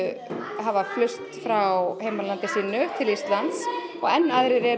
hafa flust hingað frá heimalandi sínu og enn aðrir eru